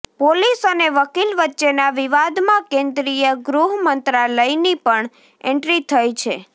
police અને વકીલ વચ્ચેના વિવાદમાં કેન્દ્રીય ગૃહમંત્રાલયની પણ એન્ટ્રી થઇ છે